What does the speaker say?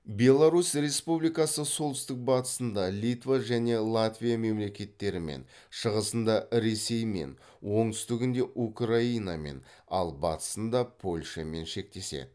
беларусь республикасы солтүстік батысында литва және латвия мемлекеттерімен шығысында ресеймен оңтүстігінде украинамен ал батысында польшамен шектеседі